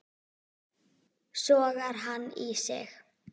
Sogar hann í sig.